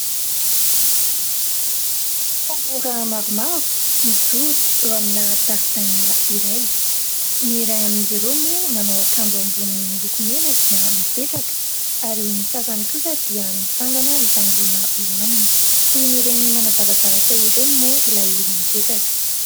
Tanora maromaro mijoro eo amina zaridaina iray. Ny iray amin'izy ireo moa manao akanjo ambony miloko mena dia mipetraka ary ny sasany kosa dia mitsangana mitangorona eo aminy. Toy ny ireny manazava zavatra ireny moa ilay olona mipetraka.